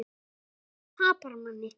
Og hvítur tapar manni.